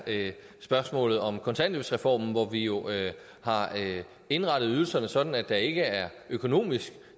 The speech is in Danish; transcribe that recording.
spørgsmålet om kontanthjælpsreformen hvor vi jo har indrettet ydelserne sådan at der ikke er økonomisk